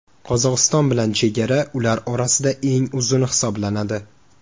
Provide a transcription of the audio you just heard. Qozog‘iston bilan chegara ular orasida eng uzuni hisoblanadi.